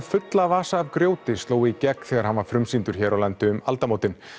fulla vasa af grjóti sló í gegn þegar hann var frumsýndur hér á landi um aldamótin